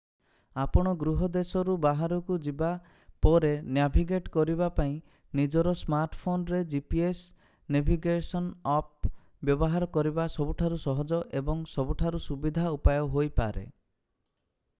ଆପଣ ଗୃହ ଦେଶରୁ ବାହାରକୁ ଯିବା ପରେ ନ୍ୟାଭିଗେଟ୍ କରିବା ପାଇଁ ନିଜର ସ୍ମାର୍ଟଫୋନ ରେ gps ନେଭିଗେସନ ଆପ୍ ବ୍ୟବହାର କରିବା ସବୁଠାରୁ ସହଜ ଏବଂ ସବୁଠାରୁ ସୁବିଧା ଉପାୟ ହୋଇପାରେ